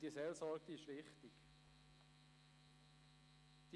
Diese Seelsorge ist wichtig.